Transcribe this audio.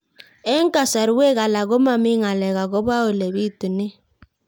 Eng' kasarwek alak ko mami ng'alek akopo ole pitunee